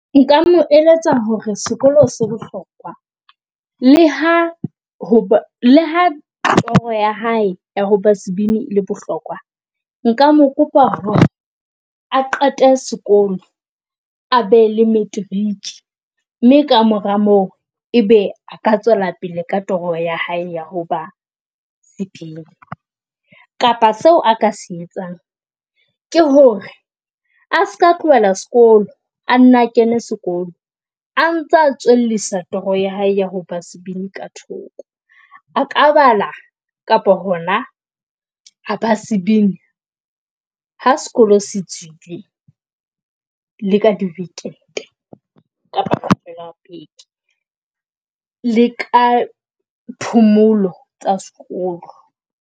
Nka mo eletsa hore sekolo se bohlokwa le ha le ha toro ya hae hoba sebini e le bohlokwa nka mo kopa hore a qete sekolo a be le matric mme kamora moo, e be a ka tswela pele ka toro ya hae ya ho ba sebini. Kapa seo a ka se etsang ke hore a ska tlohela sekolo a nna kene sekolo, a ntsa tswellisa toro ya hae ya ho ba sebini ka thoko a ka bala kapa hona ha ba sebini ha sekolo se tswile le ka di weekend, beke le ka phomolo tsa sekolo.